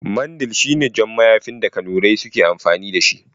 Mandil shine jan mayafin da kanurai suke amfani dashi